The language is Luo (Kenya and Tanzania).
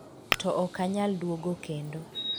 To ok anyal duogo kendo